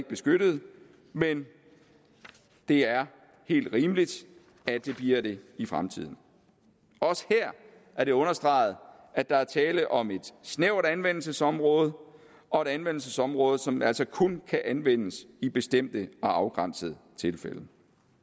beskyttet men det er helt rimeligt at det bliver det i fremtiden også her er det understreget at der er tale om et snævert anvendelsesområde og et anvendelsesområde som altså kun kan anvendes i bestemte og afgrænsede tilfælde